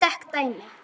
Ég tek dæmi.